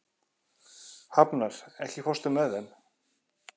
Hafnar, ekki fórstu með þeim?